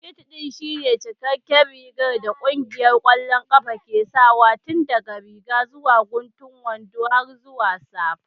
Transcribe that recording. Kit ɗin shine cikakken rigar da ƙungiyar ƙwallon ƙafa ke sawa tun daga riga zuwa guntun wando har zuwa safa.